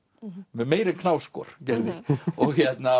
meira en Knausgård gerði og